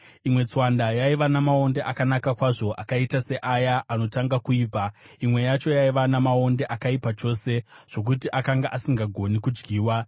Imwe tswanda yaiva namaonde akanaka kwazvo, akaita seaya anotanga kuibva; imwe yacho yaive namaonde akaipa chose, zvokuti akanga asingagoni kudyiwa.